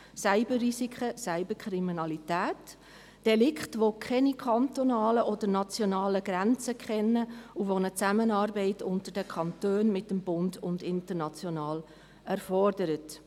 Cyberrisiken, Cyberkriminalität – Delikte, die keine kantonalen oder nationalen Grenzen kennen und die eine Zusammenarbeit zwischen den Kantonen, mit dem Bund und international erfordern.